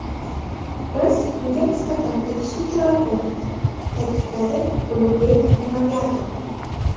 Biz unga nisbatan tegishli chora ko‘rdik”, ta’kidladi Ulug‘bek Inoyatov.